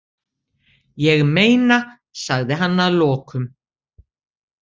Ég meina, sagði hann að lokum.